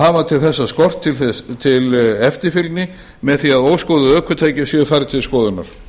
hafa til þessa skort til eftirfylgni með því að óskoðuð ökutæki séu færð til skoðunar